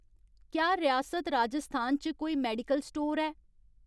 क्या रियासत राजस्थान च कोई मेडिकल स्टोर ऐ ?